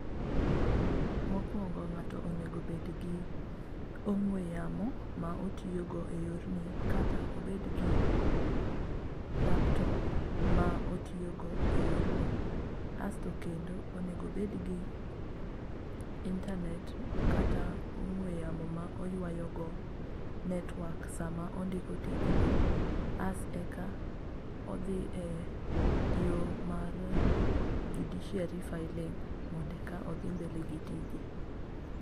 Mokwongo ng'ato onego obedgi ong'we yamo ma otiyogo e yorni kata obed gi laptop ma otiyogo e yorni. Asto kendo, onego obedgi internet kata ong'we yamo ma oywayogo network sama ondiko tijni. As eka odhi e yo mar judiciary filling' mondo eka odhi mbele gi tije.